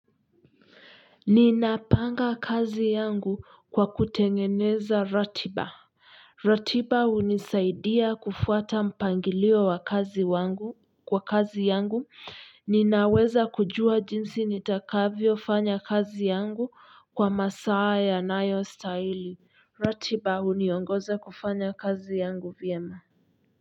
Ninapanga kazi yangu kwa kutengeneza ratiba ratiba hunisaidia kufuata mpangilio wa kazi wangu kwa kazi yangu ninaweza kujua jinsi nitakavyofanya kazi yangu kwa masaa yanayostahili ratiba huniongoza kufanya kazi yangu vyema.